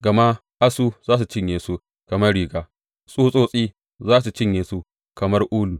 Gama asu za su cinye su kamar riga; tsutsotsi za su cinye su kamar ulu.